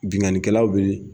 Bingani kɛlaw bɛɛ.